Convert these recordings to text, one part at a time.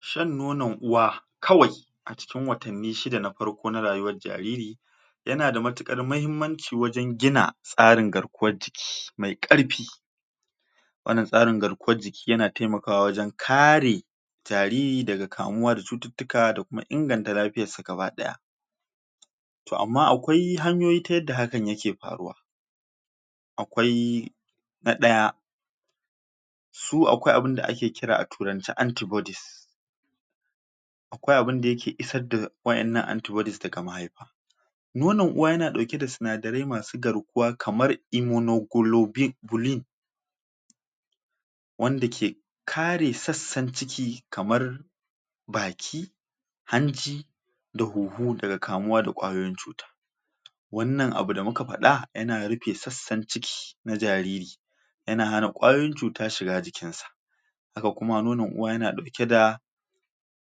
Shan nonon uwa kawai a cikin watanni shida na farko na rayuwar jariri yana da matuƙar mahimmanci wajen gina tsarin garkuwar jiki mai ƙarfi wannan tsarin garkuwar jiki yana taimakawa wajen kare jariri daga kamuwa da cututtuka da kuma inganta lafiyar sa gabaɗaya to amma akwai hanyoyi ta yadda hakan yake faruwa akwai na ɗaya su akwai abinda ake kira a turance anti-bodies akwai abinda yake isar da waƴannan anti-bodies daga mahaifa nonon uwa yana ɗauke da sinadarai masu garkuwa kamar su heamoglobin wanda ke kare sassan ciki kamar baki, hanci da huhu daga kamuwa da ƙwayoyin cuta wannan abu da muka faɗa yana rufe sassan ciki na jariri yana hana ƙwayoyin cuta shiga jikin sa haka kuma nonon uwa yana ɗauke da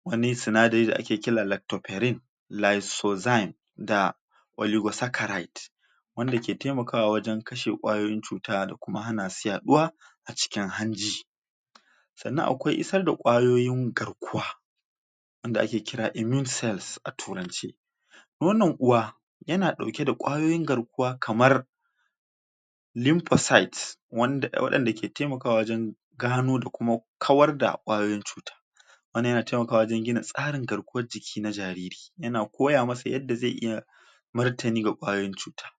wani sinadari da ake kira lactoferin lysozyme da oligosaccharides wanda ke taimakawa wajen kashe ƙwayoyin cuta da kuma hana su yaɗuwa a cikin hanji sannan kuma akwai isar da ƙwayoyin garkuwa wanda ake kira immune cells a turance nonon uwa yana ɗauke da ƙwayoyin garkuwa kamar lymphocytes waɗanda ke taimakawa wajen gano da kuma kawar da ƙwayoyin cuta wannan yana taimakawa wajen gina tsarin garkuwar jiki na jariri, yana koya masa yadda zai iya martani ga ƙwayoyin cuta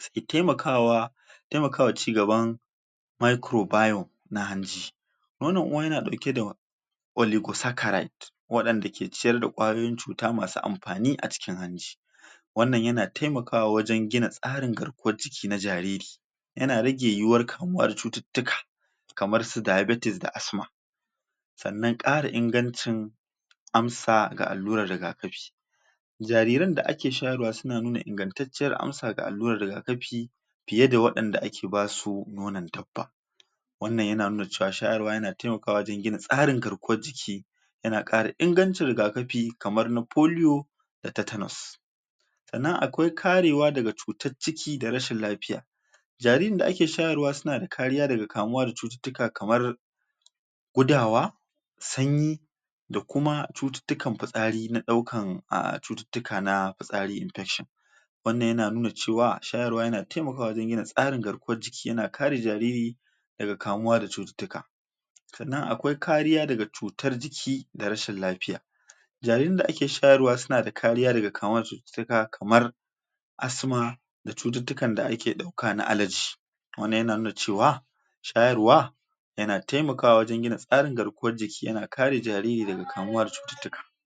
shi ne ke taimakawa taimakawa wa cigaban microbio na hanji nono uwa yana ɗauke da oligosaccharides waɗanda ke ciyar da ƙwayoyin cuta masu amfani a cikin hanji wannan yana taimakawa wajen gina tsarin garkuwar jiki na jariri yana rage yiwuwar kamuwa da cututtuka kamar su diabetes da asthma sannan ƙara ingancin amsa ga allurar rigakafi jariran da ake shayarwa suna nuna ingantaciyar amsa ga alluran rigakafi fiye da waɗanda ake basu nonon dabba wannan yana nuna cewa shayarwa yana taimakawa wajen gina tsarin garkuwar jiki yana ƙara ingancin rigakafi kamar na polio da tetanus sannan akwai karewa daga cutar ciki da rashin lafiya jaririn da ake shayarwa suna da kariya daga kamuwa daga cututtuka kamar gudawa, sanyi da kuma cututtukan fitsari na ɗaukan a cututtuka na fitsari infection wannan yana nuna cewa shayarwa yana taimakawa wajen gina tsarin garkuwan jiki yana kare jariri daga kamuwa da cututtuka sannan akwai kariya daga cutar jiki da rashin lafiya jaririn da ake shayarwa suna da kariya daga kamuwa da cututtuka kamar asthma da cututtuka da ake ɗauka na alergy wannan yana nuna cewa shayarwa yana taimakawa wajen gina tsarin gina garkuwar jiki yana kare daga kamuwa da cututtuka.